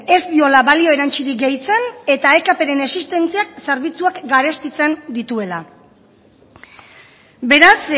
ez diola balio erantzirik gehitzen eta ekpren existentziak zerbitzuak garestitzen dituela beraz